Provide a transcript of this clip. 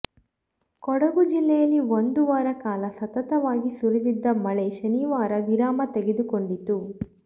ಕೊಡಗು ಜಿಲ್ಲೆಯಲ್ಲಿ ಒಂದು ವಾರ ಕಾಲ ಸತತವಾಗಿ ಸುರಿದಿದ್ದ ಮಳೆ ಶನಿವಾರ ವಿರಾಮ ತೆಗೆದುಕೊಂಡಿತು